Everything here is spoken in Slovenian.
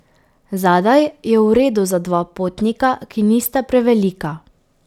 Zadaj je v redu za dva potnika, ki nista prevelika.